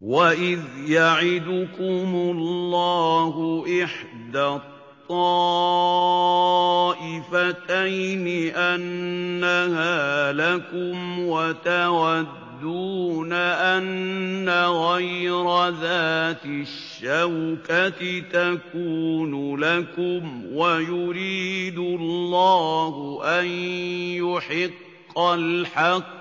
وَإِذْ يَعِدُكُمُ اللَّهُ إِحْدَى الطَّائِفَتَيْنِ أَنَّهَا لَكُمْ وَتَوَدُّونَ أَنَّ غَيْرَ ذَاتِ الشَّوْكَةِ تَكُونُ لَكُمْ وَيُرِيدُ اللَّهُ أَن يُحِقَّ الْحَقَّ